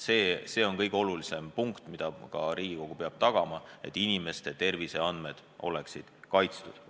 See on kõige olulisem nõue: Riigikogu peab tagama, et inimeste terviseandmed oleksid kaitstud.